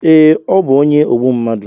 Ee ọ bu onye ogbu mmadụ